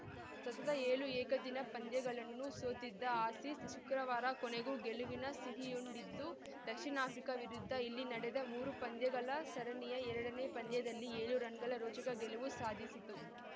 ಸತತ ಏಳು ಏಕದಿನ ಪಂದ್ಯಗಳನ್ನು ಸೋತಿದ್ದ ಆಸೀಸ್‌ ಶುಕ್ರವಾರ ಕೊನೆಗೂ ಗೆಲುವಿನ ಸಿಹಿಯುಂಡಿತು ದಕ್ಷಿಣ ಆಫ್ರಿಕಾ ವಿರುದ್ಧ ಇಲ್ಲಿ ನಡೆದ ಮೂರು ಪಂದ್ಯಗಳ ಸರಣಿಯ ಎರಡನೇ ಪಂದ್ಯದಲ್ಲಿ ಏಳು ರನ್‌ಗಳ ರೋಚಕ ಗೆಲುವು ಸಾಧಿಸಿತು